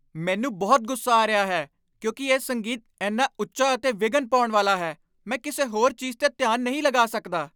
ਮੈਨੂੰ ਬਹੁਤ ਗੁੱਸਾ ਆ ਰਿਹਾ ਹੈ ਕਿਉਂਕਿ ਇਹ ਸੰਗੀਤ ਇੰਨਾ ਉੱਚਾ ਅਤੇ ਵਿਘਨ ਪਾਉਣ ਵਾਲਾ ਹੈ। ਮੈਂ ਕਿਸੇ ਹੋਰ ਚੀਜ਼ 'ਤੇ ਧਿਆਨ ਨਹੀਂ ਲਗਾ ਸਕਦਾ।